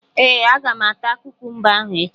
Ee, Aga m ata kukumba ahụ echi